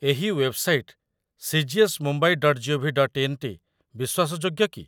ଏହି website cgsmumbai.gov.in ଟି ବିଶ୍ୱାସଯୋଗ୍ୟ କି?